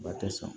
Ba tɛ sɔn